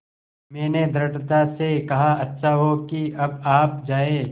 मैंने दृढ़ता से कहा अच्छा हो कि अब आप जाएँ